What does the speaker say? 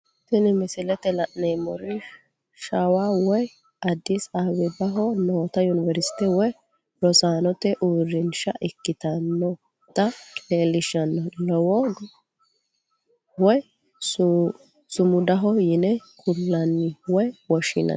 Tini misilete la'neemori shawa woyi adis abebaho nootta univerisite woyi rosaanote uurinsha ikkinotta leellishano loogo woyi sumudaho yine kulanni woyi woshinanni